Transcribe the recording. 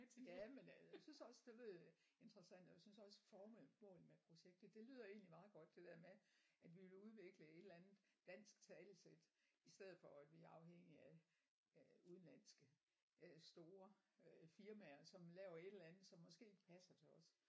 Jamen ja jeg synes også det lød interessant og jeg synes også formålet med projektet det lyder egentlig meget godt det der med at vi vil udvikle et eller andet dansk talesæt i stedet for at vi er afhængige af af udenlandske øh store øh firmaer som laver et eller andet som måske ikke passer til os